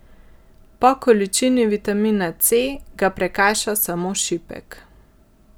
Po količini vitamina C ga prekaša samo šipek.